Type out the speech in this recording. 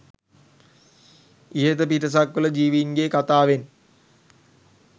ඉහත පිටසක්වල ජීවීන්ගේ කථාවෙන්